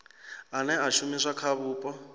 ane a shumiswa kha vhupo